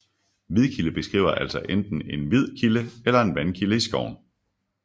Hvidkilde beskriver altså enten en hvid kilde eller en vandkilde i skoven